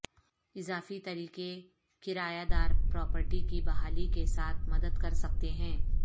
اضافی طریقے کرایہ دار پراپرٹی کی بحالی کے ساتھ مدد کرسکتے ہیں